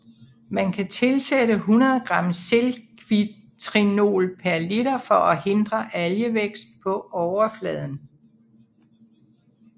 Man kan tilsætte 100 g zinkvitrinol per liter for at hindre algevækst på overfladen